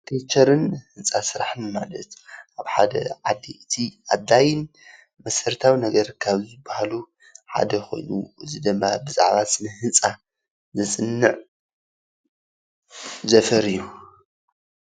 አርክቴክቸር ን ህንፃ ስራሕን ማለት ኣብ ሓደ ዓዲ እቲ ኣድላዪ መሰረታዊ ነገር ካብ ዝበሃሉ ሓደ ኮይኑ እዚ ደማ ብዛዕባ ስነ ህንፃ ዘፅንዕ ዘፈር እዪ ።